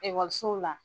Ekɔlisow la